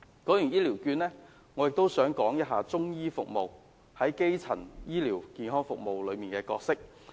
說完醫療券，我亦想談談中醫服務在基層醫療服務中的角色。